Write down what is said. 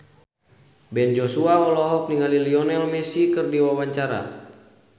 Ben Joshua olohok ningali Lionel Messi keur diwawancara